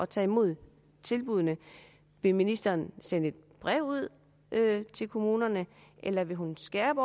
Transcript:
tage imod tilbuddene vil ministeren sende et brev ud til kommunerne eller vil hun indskærpe